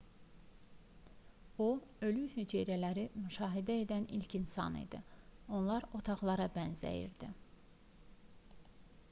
o ölü hüceyrələri müşahidə edən ilk insan idi onlar otaqlara bənzəyirdi